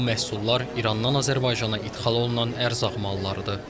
Bu məhsullar İrandan Azərbaycana idxal olunan ərzaq mallarıdır.